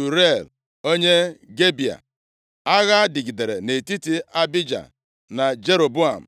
nwa Uriel, onye Gibea. Agha dịgidere nʼetiti Abija na Jeroboam.